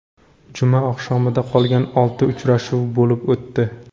Juma oqshomida qolgan olti uchrashuv bo‘lib o‘tdi.